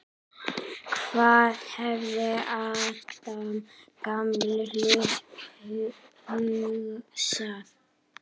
Hvað hefði Adam gamli hugsað?